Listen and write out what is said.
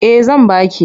Eh zan ba ki.